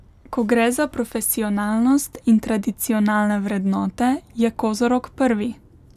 Ko gre za profesionalnost in tradicionalne vrednote, je kozorog prvi.